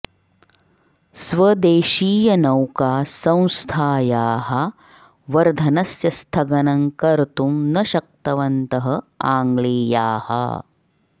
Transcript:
स्वदेशीयनौका संस्थायाः वर्धनस्य स्थगनं कर्तुं न शक्तवन्तः आङ्ग्लेयाः